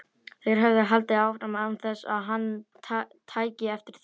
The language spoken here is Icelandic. Þeir höfðu haldið áfram án þess að hann tæki eftir því.